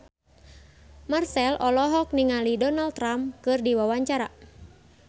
Marchell olohok ningali Donald Trump keur diwawancara